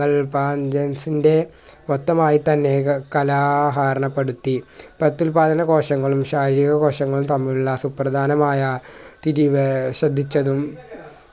franchise ൻ്റെ മൊത്തമായി തന്നെ കലാഹാരണപെടുത്തി പ്രത്യുൽപാദന കോശങ്ങളും ശാരീരിക കോശങ്ങളും തമ്മിലുള്ള സുപ്രദാനമായ തിരിവ് ശ്രദ്ധിച്ചതു